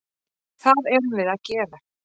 Það erum við að gera.